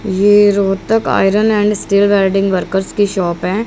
ये Rohtak iron and steel welding works की shop है।